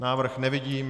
Návrh nevidím.